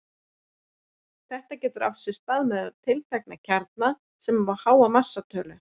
Þetta getur átt sér stað meðal tiltekinna kjarna sem hafa háa massatölu.